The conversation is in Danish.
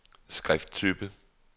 skrifttype